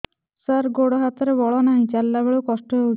ସାର ଗୋଡୋ ହାତରେ ବଳ ନାହିଁ ଚାଲିଲା ବେଳକୁ କଷ୍ଟ ହେଉଛି